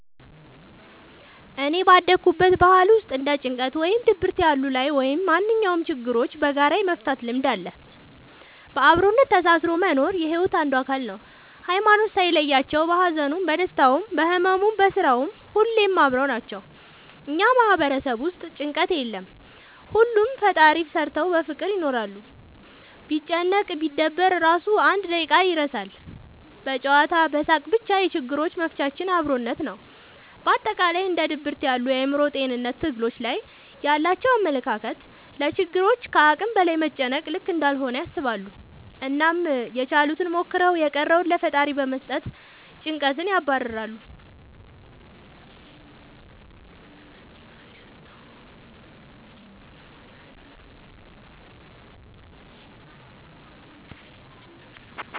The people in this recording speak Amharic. እኔ ባደኩበት ባህል ውስጥ እንደ ጭንቀት ወይም ድብርት ያሉ ላይ ወይም ማንኛውም ችግሮችን በጋራ የመፍታት ልምድ አለ። በአብሮነት ተሳስሮ መኖር የሒወት አንዱ አካል ነው። ሀይማኖት ሳይለያቸው በሀዘኑም በደስታውም በህመሙም በስራውም ሁሌም አብረው ናቸው። እኛ ማህበረሰብ ውስጥ ጭንቀት የለም ሁሉንም ለፈጣሪ ሰተው በፍቅር ይኖራሉ። ቢጨነቅ ቢደበር እራሱ አንድ በደቂቃ ይረሳል በጨዋታ በሳቅ በቻ የችግሮች መፍቻችን አብሮነት ነው። በአጠቃላይ እንደ ድብርት ያሉ የአእምሮ ጤንነት ትግሎች ላይ ያላቸው አመለካከት ለችግሮች ከአቅም በላይ መጨነቅ ልክ እንዳልሆነ ያስባሉ አናም ያችሉትን ሞክረው የቀረውን ለፈጣሪ በመስጠት ጨንቀትን ያባርራሉ።